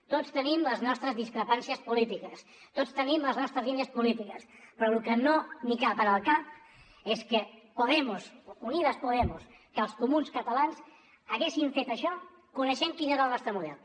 tots tenim les nostres discrepàncies polítiques tots tenim les nostres línies polítiques però lo que no em cap en el cap és que podemos unidas podemos que els comuns catalans haguessin fet això coneixent quin era el nostre model